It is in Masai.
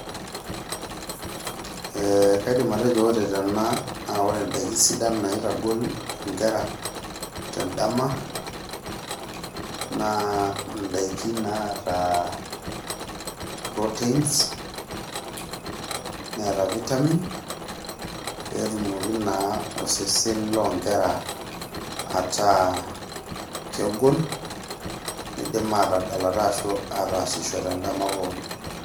Ee kaidim atejo ore tena naa ore indaikin sidan naitagol inkera tendama naa indaikin naata proteins neeta vitamins petumoki naa osesen loonkera ataa kegol nidim atadalata ashu ataasisho tendama pookin.